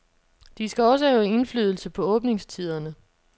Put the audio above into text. De skal også have indflydelse på åbningstiderne.